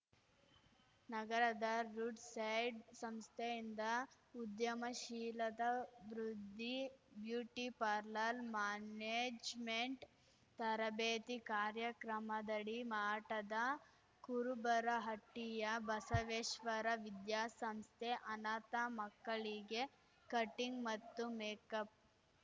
ನಗರದ ರುಡ್‌ಸೆಟ್‌ ಸಂಸ್ಥೆಯಿಂದ ಉದ್ಯಮಶೀಲತಾಭಿವೃದ್ಧಿ ಬ್ಯೂಟಿಪಾರ್ಲರ್‌ ಮ್ಯಾನೇಜ್‌ಮೆಂಟ್‌ ತರಬೇತಿ ಕಾರ್ಯಕ್ರಮದಡಿ ಮಾಠದ ಕುರುಬರಹಟ್ಟಿಯ ಬಸವೇಶ್ವರ ವಿದ್ಯಾಸಂಸ್ಥೆ ಅನಾಥ ಮಕ್ಕಳಿಗೆ ಕಟಿಂಗ್‌ ಮತ್ತು ಮೆಕಪ್‌